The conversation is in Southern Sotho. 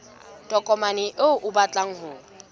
tokomane eo o batlang ho